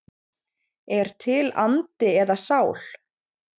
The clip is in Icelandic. Er til andi eða sál?